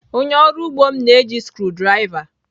Onye ọrụ ugbo m na-eji screw driver.